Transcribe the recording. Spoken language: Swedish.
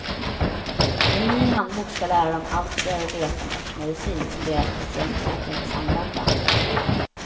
En ny handbok ska lära dem allt de behöver veta om örtmedicin som deras patienter kan tänkas använda.